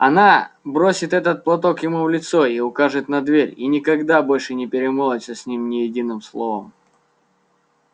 она бросит этот платок ему в лицо и укажет на дверь и никогда больше не перемолвится с ним ни единым словом